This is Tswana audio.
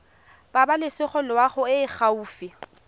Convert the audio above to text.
pabalesego loago e e gaufi